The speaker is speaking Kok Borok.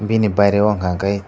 bini baire o hingka kei.